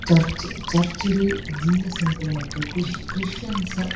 church church ಡ್ Jesus ನ್ pray ಮನ್ಪುವೆರ್ ಕುಶ್ ಕ್ರಿಶ್ಚಿಯನ್ಸ್ --